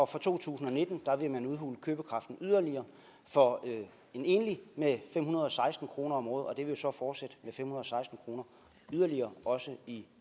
fra to tusind og nitten vil man udhule købekraften yderligere for en enlig med fem hundrede og seksten kroner om året og det vil jo så fortsætte med fem hundrede og seksten kroner yderligere også i